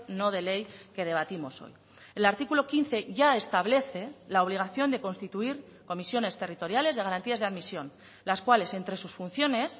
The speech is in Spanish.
no de ley que debatimos hoy el artículo quince ya establece la obligación de constituir comisiones territoriales de garantías de admisión las cuales entre sus funciones